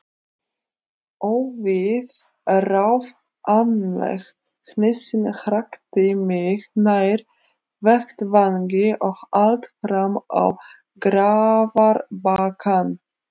Óviðráðanleg hnýsnin hrakti mig nær vettvangi og allt fram á grafarbakkann.